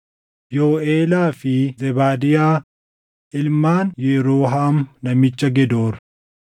Yooʼelaa fi Zebaadiyaa ilmaan Yeroohaam namicha Gedoor.